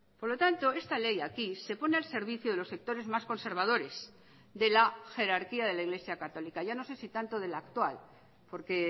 por lo tanto esta ley aquí se pone al servicio de los sectores más conservadores de la jerarquíade la iglesia católica ya no sé si tanto de la actual porque